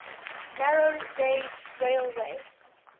narrow gauge railway